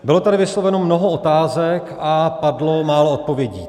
Bylo tady vysloveno mnoho otázek a padlo málo odpovědí.